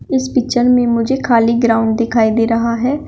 इस पिक्चर में मुझे खाली ग्राउंड दिखाई दे रहा है।